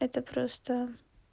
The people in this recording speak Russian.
это просто